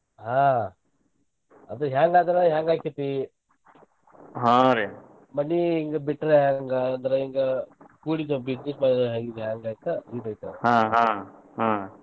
ಹಾ ಅದು ಹೆಂಗ್ ಆದರ ಹೆಂಗ್ ಅಕ್ಕೆತಿ ಮನಿ ಇಂಗ್ ಬಿಟ್ರ ಹೆಂಗ್ ಅಂದ್ರ ಈಗ .